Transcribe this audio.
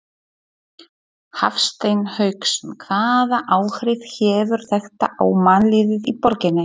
Hafsteinn Hauksson: Hvaða áhrif hefur þetta á mannlífið í borginni?